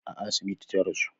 A asibiti ta rasu